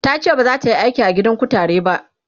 tace bazata Yi aiki a gidan kutare ba